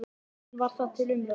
En var það til umræðu?